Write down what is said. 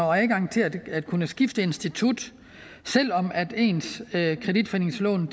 og adgang til at at kunne skifte institut selv om ens kreditforeningslån